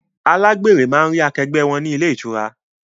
Alágbèrè máa ń rí akẹgbẹ́ wọn ni ilé ìtura